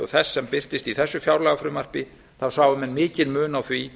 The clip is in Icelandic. og þess sem birtist í þessu fjárlagafrumvarpi sjái menn mikinn mun á því